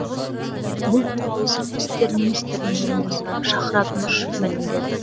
бұл туралы сыртқы істер министрінің орынбасары шахрад нұрышев мәлімдеді